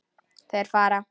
Þeir fara.